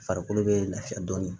Farikolo bɛ lafiya dɔɔnin